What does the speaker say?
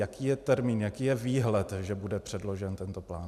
Jaký je termín, jaký je výhled, že bude předložen tento plán?